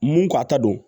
Mun ka ta don